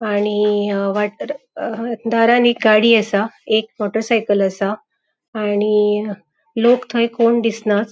आणि दारान एक गाड़ी असा. एक मोटर साइकल असा आणि लोक थय कोण दिसनाथ.